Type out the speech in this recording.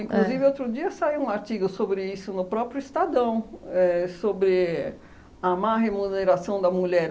outro dia saiu um artigo sobre isso no próprio Estadão, éh sobre a má remuneração da mulher.